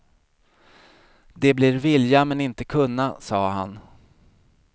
Det blir vilja men inte kunna, sa han.